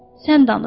Sən danış.